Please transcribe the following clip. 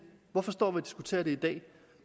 hvorfor står og diskuterer det i dag